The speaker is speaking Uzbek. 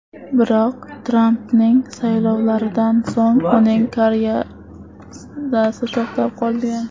Biroq, Trampning saylovlaridan so‘ng uning karyerasi to‘xtab qolgan.